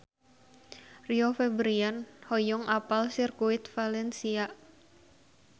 Rio Febrian hoyong apal Sirkuit Valencia